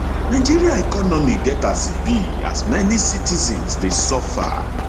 nigeria economy get as e be as many citizens dey suffer dey suffer